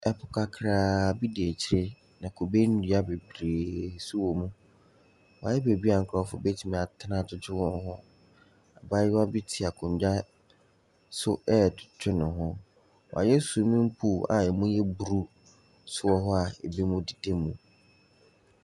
Po kakra bi da akyire na kube nnua bebree nso wɔ mu. Wɔayɛ beebi nkorɔfo bɛtumi atena adwedwe wɔn ho. Abaayewa bi te akonnwa so ɛredwedwe ne ho. Wɔayɛ swimming pool a ɛmu yɛ blue nso wɔ hɔ a binom deda mu.